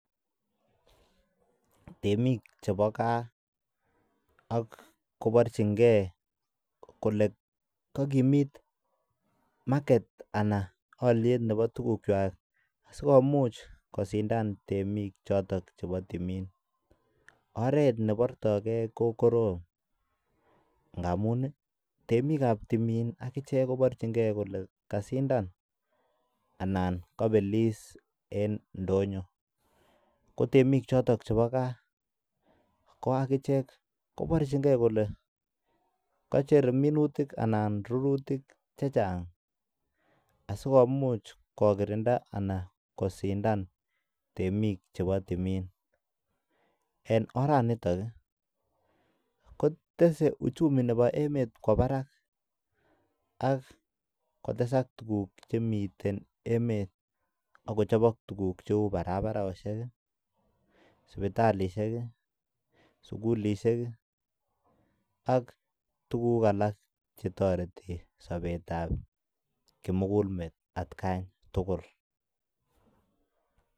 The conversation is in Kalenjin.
Temik chebo gaa koborchinge kole kogimit market ana olyet nebo tugukwak sikomuch kosindan temik choton chebo timin. Oret nebortoke ko korom ngamun ii temik ab timin ak ichek koborchinge koker kole kasindan anan kobelis en ndonyo. Ko temik choton chebo ga ko ak ichek koborchingei kole kochher minutik anan rurutik chechang asikomuch kokirinda anan kosindan temik chbeo timin. En oranitok kotese uchumi nebo emet kwo barak ak kotesak tuguk chemiten emet ak kochobok tuguk cheu barabarosiek, sipatilisiek, sugulishek, ak tuguk alak che toreti sobet ab kimugulmet atkan tugul.